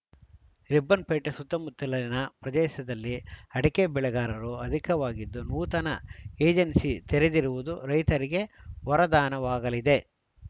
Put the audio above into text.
ರಿಪ್ಪನ್‌ಪೇಟೆ ಸುತ್ತಮುತ್ತಲಿನ ಪ್ರದೇಶದಲ್ಲಿ ಅಡಕೆ ಬೆಳೆಗಾರರು ಅಧಿಕವಾಗಿದ್ದು ನೂತನ ಎಜೆನ್ಸಿ ತೆರೆದಿರುವುದು ರೈತರಿಗೆ ವರದಾನವಾಗಲಿದೆ